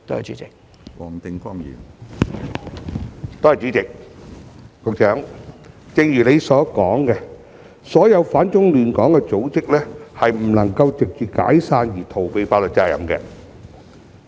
主席，正如局長所說，所有反中亂港的組織均不能藉着解散而逃避法律責任。